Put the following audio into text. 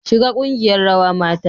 Shiga kungiyar rawa mata